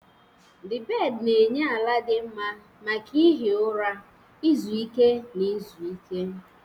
The bed na-enye ala dị mma maka ihi ụra, izu ike, na izu ike.